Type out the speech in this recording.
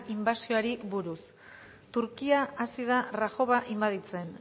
inbasioari buruz turkia hasi da rajova inbaditzen